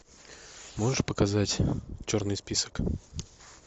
можешь показать черный список